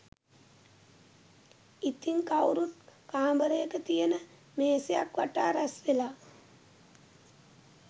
ඉතින් කවුරුත් කාමරයක තියන මේසයක් වටා රැස්වෙලා